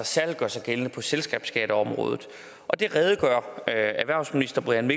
særlig gør sig gældende på selskabsskatteområdet og det redegør erhvervsministeren